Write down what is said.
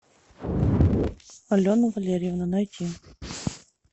алена валерьевна найти